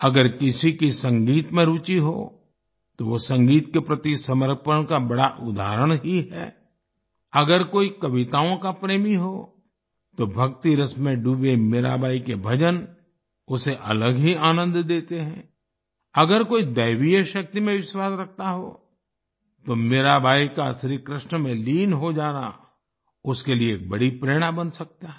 अगर किसी की संगीत में रूचि हो तो वो संगीत के प्रति समर्पण का बड़ा उदाहरण ही है अगर कोई कविताओं का प्रेमी हो तो भक्तिरस में डूबे मीराबाई के भजन उसे अलग ही आनंद देते हैं अगर कोई दैवीय शक्ति में विश्वास रखता हो तो मीराबाई का श्रीकृष्ण में लीन हो जाना उसके लिए एक बड़ी प्रेरणा बन सकता है